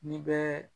N'i bɛ